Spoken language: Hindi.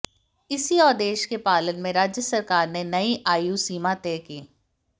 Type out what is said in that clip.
इसी आदेश के पालन में राज्य सरकार ने नई आयुसीमा तय की